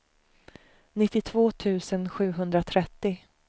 nittiotvå tusen sjuhundratrettio